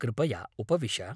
कृपया उपविश।